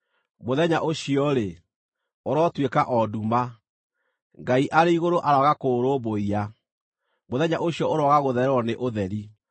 Mũthenya ũcio-rĩ, ũrotuĩka o nduma; Ngai arĩ igũrũ aroaga kũũrũmbũiya; mũthenya ũcio ũroaga gũthererwo nĩ ũtheri.